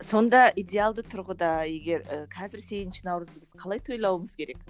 сонда идеалды тұрғыда егер і қазір сегізінші наурызды біз қалай тойлауымыз керек